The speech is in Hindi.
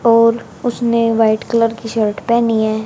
और उसने व्हाइट कलर की शर्ट पहनी है।